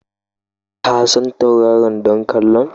Ka san tauraron ɗan ƙwallon?